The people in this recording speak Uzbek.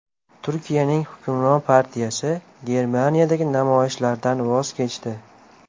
Turkiyaning hukmron partiyasi Germaniyadagi namoyishlardan voz kechdi.